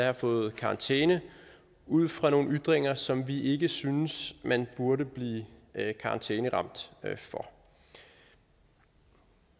har fået karantæne ud fra nogle ytringer som vi ikke synes man burde blive karantæneramt for